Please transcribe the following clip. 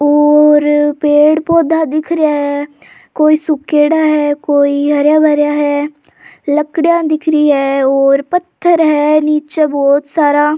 और पेड़ पौधा दिख रिया है कोई सूखेड़ा है कोई हरा भरा है लकडिया दिख रही है और पत्थर है नीचे बहोत सारा।